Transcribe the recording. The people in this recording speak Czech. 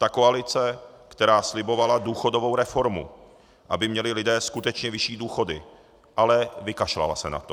Ta koalice, která slibovala důchodovou reformu, aby měli lidé skutečně vyšší důchody, ale vykašlala se na to.